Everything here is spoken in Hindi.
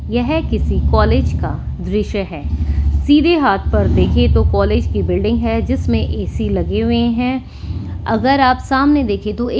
यह किसी कॉलेज का दृश्य है सीधे हाथ पर देखे तो कॉलेज की बिल्डिंग है जिसमें ए_सी लगे हुए हैं अगर आप सामने देख तो ये--